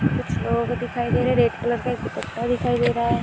कुछ लोग दिखाई दे रहें हैं रेड कलर का एक दुपट्टा दिखाई दे रहा हैं।